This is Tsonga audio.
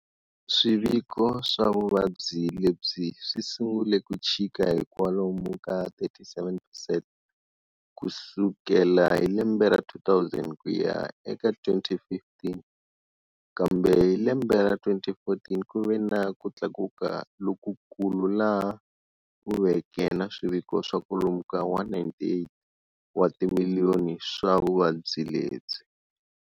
Swiviko swa vuvabyi lebyi swi sungule ku chika hikwalomu ka 37 percent kusukela hi lembe ra 2000 kuya eka 2015, kambe hi lembe ra 2014 kuve na kutlakuka loko kulu laha kuveke na swiviko swa kwalomu ka 198 wa timiliyoni swa vuvabyi lebyi.